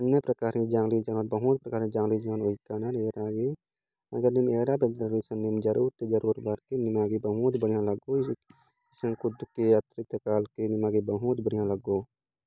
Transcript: अन्य प्रकार के जंगली जानवर बहुत प्रकार के जंगली जानवर ज़रूर ज़रूर भर के निमागी बहुत बढ़िया लगो कद के अतक के निमागी बहुत बढ़िया लगो।